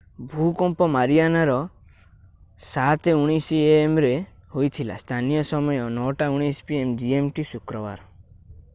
ଭୂକମ୍ପ ମାରିଆନାରେ 07:19 a.m. ରେ ହୋଇଥିଲା। ସ୍ଥାନୀୟ ସମୟ 09:19 p.m. gmt ଶୁକ୍ରବାର